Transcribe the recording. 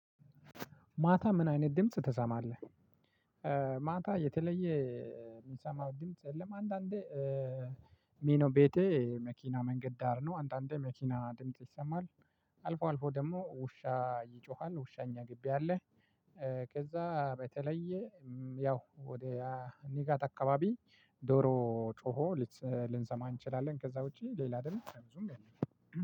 ማታ ምን አይነት ድምጽ ትሰማለህ? ማታ የተለየ የምሰማው ድምጽ የለም። አንዳንዴ ሜኖ ቤቴ መኪና መንገድ ዳር ነው። አንዳንዴ መኪና ድምጽ ይሰማል። አልፎ አልፎ ደግሞ ውሻ ይጮሃል ውሻ እኛ ግቢ አለ። ከዛ በተለየ ያው ወደ አ ንጋት አካባቢ ዶሮ ጮሆ ልትሰ ልንሰማ እንችላለን። ከዛ ውጪ ሌላ ድምጽ ብዙም የለም።